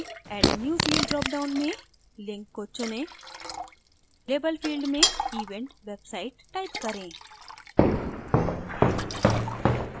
add a new field dropdown में link को चुनें label field में event website type करें